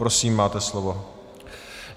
Prosím, máte slovo.